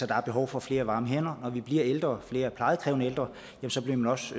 der er behov for flere varme hænder når vi bliver ældre flere plejekrævende ældre og så bliver man også